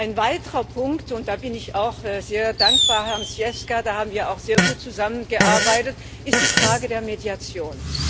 Ein weiterer Punkt und da bin ich Herrn Zwiefka auch sehr dankbar, da haben wir auch sehr gut zusammengearbeitet ist die Frage der Mediation.